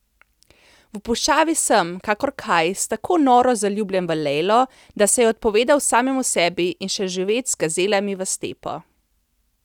V puščavi sem, kakor Kajs, tako noro zaljubljen v Lejlo, da se je odpovedal samemu sebi in šel živet z gazelami v stepo.